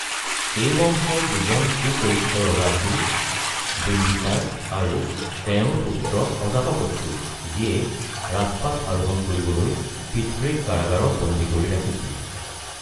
এই বংশৰ দুজন সুপৰিচিত ৰজা আছিল বিম্বিছাৰ আৰু তেওঁৰ পুত্ৰ অজাতশত্ৰু, যিয়ে ৰাজপাট আৰোহণ কৰিবলৈ পিতৃক কাৰাগাৰত বন্দী কৰি ৰাখিছিল।